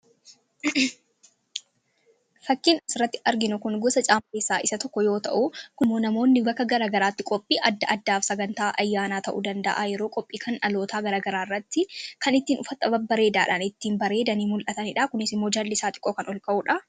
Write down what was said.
fakkiin asirratti arginu kun gosa caammaa keessaa isa tokko yoo ta'u kunimmoo namoonni bakka garagaraatti qophii adda addaaf sagan taa ayyaanaa ta'uu danda'a yeroo qophii kan alootaa garagaraarratti kan ittiin ufatta ba bareedaadhaan ittiin bareedanii mul'ataniidha kunisimoo jalli isaa xiqqoo kan ol ka'uudha